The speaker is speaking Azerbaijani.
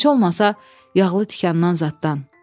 Heç olmasa yağlı tikandan zaddan.